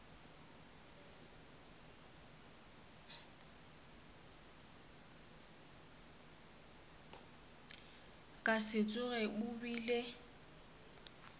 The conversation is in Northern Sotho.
ka se tsoge o bile